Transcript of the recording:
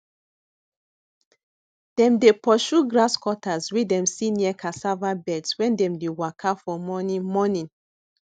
dem dey pursue grasscutters wey dem see near cassava beds wen dem dey waka for morning morning